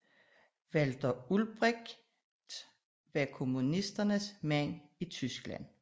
Walter Ulbricht var kommunisternes mand i Tyskland